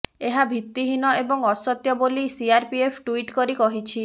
ଏହା ଭିତ୍ତିହୀନ ଏବଂ ଅସତ୍ୟ ବୋଲି ସିଆରପିଏଫ୍ ଟ୍ବିଟ୍ କରି କହିଛି